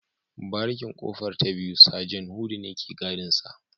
Barikin kofar ta biyu Sajan hudu ne ke gadinsa